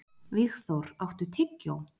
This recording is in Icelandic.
Vígþór, áttu tyggjó?